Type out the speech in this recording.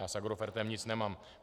Já s Agrofertem nic nemám.